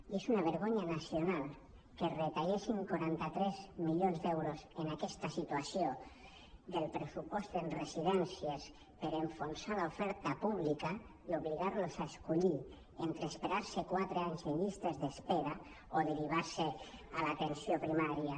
i és una vergonya nacional que es retallessin quaranta tres milions d’euros en aques·ta situació del pressupost en residències per enfonsar l’oferta pública i obligar·los a escollir entre esperar·se quatre anys en llistes d’espera o derivar·los a l’atenció pri·mària